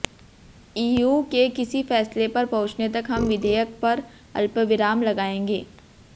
EU के किसी फैसले पर पहुंचने तक हम विधेयक पर अल्पविराम लगाएंगे